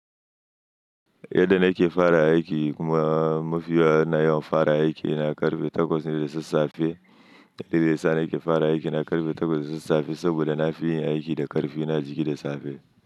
Yadda na ke fara aiki kuma mafiya na yawan fara aiki, na karfe takwas ne da sassafe. Dalilin yasa na ke fara aiki na karfe takwas da sassafe saboda na fi yin aiki da karfi na a jiki da safe.